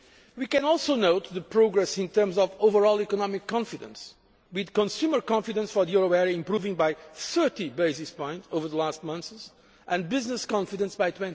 We can also note the progress in terms of overall economic confidence, with consumer confidence for the euro area improving by 30 basis points over the last months, and business confidence by